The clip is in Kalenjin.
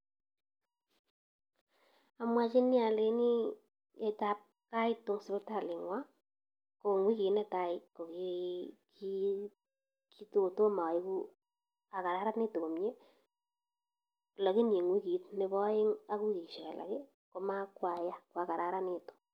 Amwachini aleini, yetab kaitu eng sipitali ng'wa, ko eng wikit netai ko ki, kitakotomo aegu akararanitu komnye, lakini eng wikit nebo aeng ak wikishek alak, ko ma kwaya, kwakararanitu.